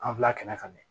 An bila kɛnɛ kan mɛ